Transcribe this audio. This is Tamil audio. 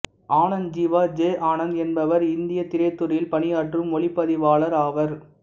ஆனந்த் ஜீவா ஜெ ஆனந்த் என்பவர் இந்தியத் திரைத்துறையில் பணியாற்றும் ஒளிப்பதிவாளர் ஆவார்